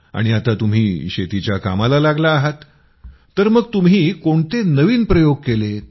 आणि आता तुम्ही शेतीच्या कामाला लागला आहात तर मग तुम्ही कोणते नवीन प्रयोग केलेत